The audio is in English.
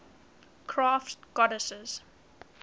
crafts goddesses